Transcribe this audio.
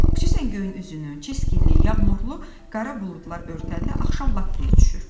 Xüsusən göyün üzünü çiskinli, yağmurlu, qara buludlar örtəndə axşam lap tez düşür.